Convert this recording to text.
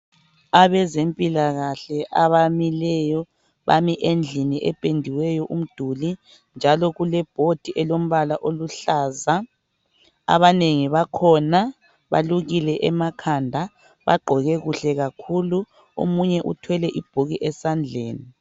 Abazempilakahle abamileyo bame endlini ependiweyo umduli. Njalo kule bhodi elombala oluhlaza. Abanengi bakhona balukile emakhanda, bagqoke kuhle kakhulu. omunye uthwele ibhuku esandleni.